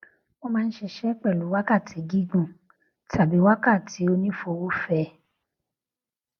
wọn máa n ṣiṣẹ pẹlú wákàtí gígùn tàbí wákàtí onífowófẹ